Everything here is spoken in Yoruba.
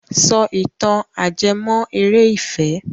Sọ ìtàn ajẹ́mọ́- eré ìfẹ́!